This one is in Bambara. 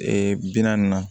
Ee bi naani na